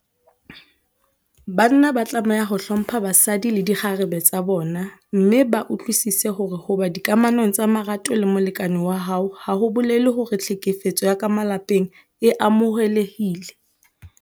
Banna ba tlameha ho hlompha basadi le dikgarebe tsa bona mme ba utlwisise hore ho ba dikamanong tsa marato le molekane wa hao ha ho bolele hore tlhekefetso ya ka malapeng e amohelehile.